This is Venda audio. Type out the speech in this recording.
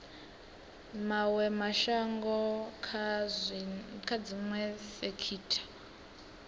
mawe mashango kha dziwe sekitha